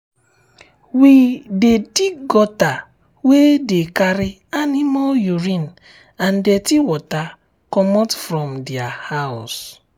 we dig gutter wey dey carry animal urine and dirty water comot from their house.